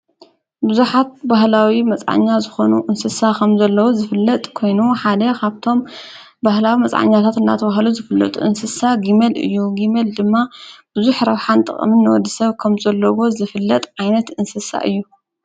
ብዙኃት ባህላዊ መፃኣኛ ዝኾኑ እንስሳ ኸም ዘለዎት ዝፍለጥ ኮይኑ ሓደ ኻብቶም ባህላዊ መፃዕኛታት እናተ ውሃሉ ዝፍልጡ እንስሳ ጊመል እዩ ጊሜል ድማ ብዙይ ኅ ራውኃን ጥቕምን ወዲ ሰብ ከም ዘለዎ ዝፍለጥ ዓይነት እንስሳ እዩ።